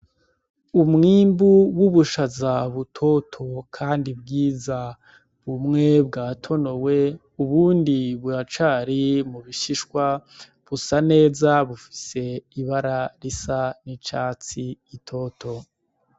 Umwimbu w'ubushaza butoto kandi bwiza , bumwe bwatonowe ubundi buracari mu bishishwa , busa neza bufise ibara risa n'icatsi gitoto.